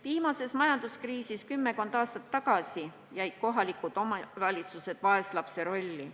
Viimase majanduskriisi ajal kümmekond aastat tagasi jäid kohalikud omavalitsused vaeslapse rolli.